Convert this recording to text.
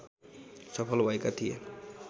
सफल भएका थिए।